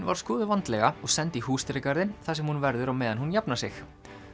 var skoðuð vandlega og send í húsdýragarðinn þar sem hún verður á meðan hún jafnar sig